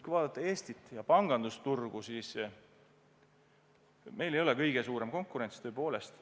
Kui vaadata Eestit ja meie pangandusturgu, siis meil ei ole kõige suurem konkurents tõepoolest.